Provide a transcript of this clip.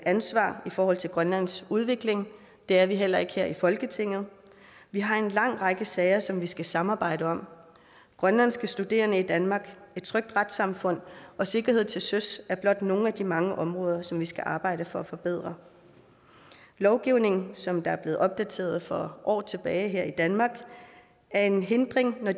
ansvar i forhold til grønlands udvikling det er vi heller ikke her i folketinget vi har en lang række sager som vi skal samarbejde om grønlandske studerende i danmark et trygt retssamfund og sikkerhed til søs er blot nogle af de mange områder som vi skal arbejde for at forbedre lovgivning som er blevet opdateret for år tilbage her i danmark er en hindring når